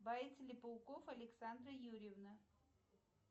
боится ли пауков александра юрьевна